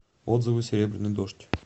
отзывы серебряный дождь